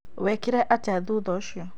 Wekire atĩa thutha ũcio?